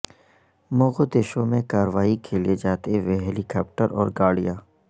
Mogadishu میں کارروائی کے لیے جاتے ہوئے ہیلی کاپٹر اور گاڑیاں